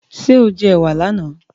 Ṣé o jẹ ẹ̀wà láàná?